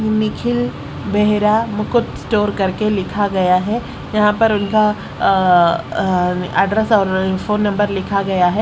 Nikhil Behera Mukut store करके लिखा गया है यहां पर उनका अ एड्रेस और फोन नंबर लिखा गया है।